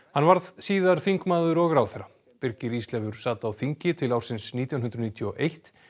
hann varð síðar þingmaður og ráðherra birgir Ísleifur sat á þingi til ársins nítján hundruð níutíu og eitt